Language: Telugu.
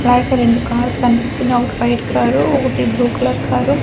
బయట రెండు కార్స్ కనిపిస్తున్నాయి ఒకటి వైట్ కారు ఒకటి బ్లూ కలర్ కారు .